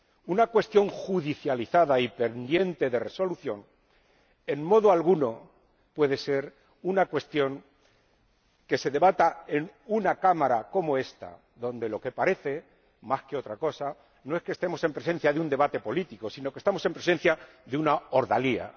Una cuestión judicializada y pendiente de resolución en modo alguno puede ser una cuestión que se debata en una Cámara como esta, donde lo que parece, más que otra cosa, no es que estemos en presencia de un debate político, sino que estamos en presencia de una ordalía.